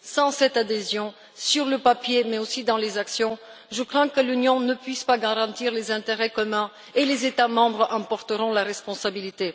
Sans cette adhésion, sur le papier mais aussi dans les actes, je crains que l'Union ne puisse pas garantir les intérêts communs, et les États membres en porteront la responsabilité.